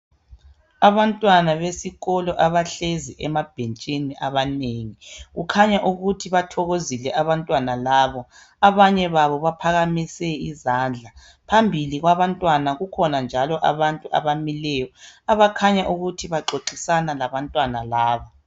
abantwana besikolo abahlezi emabhentshini abanengi kukhanya ukuthi bathokozile abantwana labo abanye babo baphakamise izandla phambili kwabantwana kukhona njalo abamileyo abakhanya ukuthi baxoxisana labantwana laba